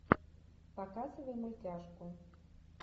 показывай мультяшку